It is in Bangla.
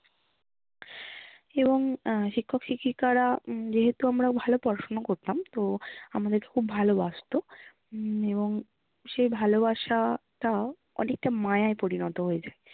এবং আহ শিক্ষক শিক্ষিকারা আহ যেহেতু আমরা ভালো পড়াশুনা করতাম, তো আমাদেরকে খুব ভালোবাসতো উম এবং সেই ভালোবাসা টা অনেকটা মায়ায় পরিণত হয়েছে।